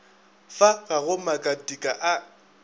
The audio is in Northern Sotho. fa ga go makatika a